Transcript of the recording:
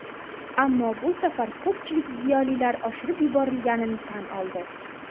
Ammo bu safar ko‘pchilik ziyolilar oshirib yuborilganini tan oldi.